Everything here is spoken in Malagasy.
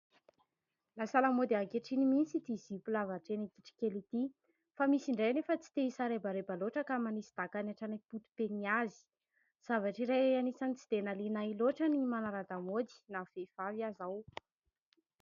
Lasa lamaody ankehitriny mihitsy ity zipo lava hatreny an-kitrokely ity fa misy indray anefa tsy te-hisarebareba loatra ka manisy dakany hatreny am-poto-pe ny azy. Zavatra iray anisan'ny tsy dia nahaliana ahy loatra ny manara-damaody na vehivavy aza aho.